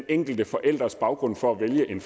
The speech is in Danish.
enkelte forældres baggrund for at vælge en